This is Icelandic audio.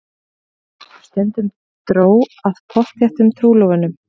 Stundum dró að pottþéttum trúlofunum.